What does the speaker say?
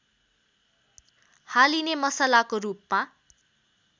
हालिने मसलाको रूपमा